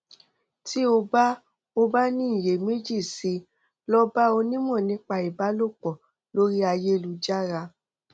tí o bá o bá ní iyèméjì sí i lọ bá onímọ nípa ìbálòpọ lórí ayélujára